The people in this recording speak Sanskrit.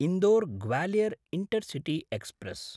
Indore-Gwalior intercity express